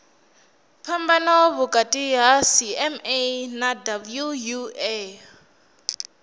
phambano vhukati ha cma na wua